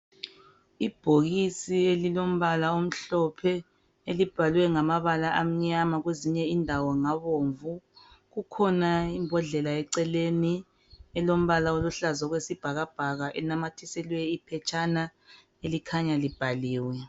Ibhokisi elilombala omhlophe elibhalwe ngamabala amnyama kwezinye indawo ngabomvu kukhona imbhodlela eceleni elombala oluhlaza okwesibhakabhaka inamathiselwe iphetshana elikhanya libhaliwe